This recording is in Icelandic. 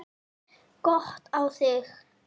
Gott á þig.